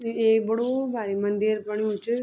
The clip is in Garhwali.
यु एक बडू भारिक मंदिर बण्यु च।